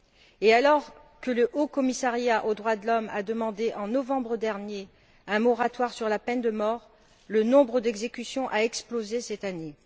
Et alors que le haut commissariat aux droits de l'homme a demandé, en novembre dernier, un moratoire sur la peine de mort, le nombre d'exécutions a explosé cette année.